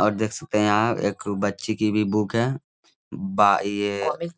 और देख सकते है एक बच्ची की भी बुक हैं बा ये --